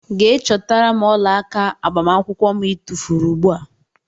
Gee chọtara mụ ọlaaka agbamakwụkwọ mụ i tufuru ugbua!!.